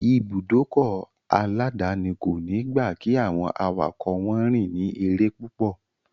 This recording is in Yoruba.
Ìbùdókọ̀ aláàdáni kòní gba kí àwọn awakọ̀ wọn rìn ní eré púpọ̀.